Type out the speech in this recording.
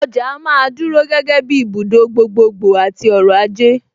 Ọjà á máa dúró gẹ́gẹ́ bíi ibùdó gbogbogbò àti ọrọ̀-ajé.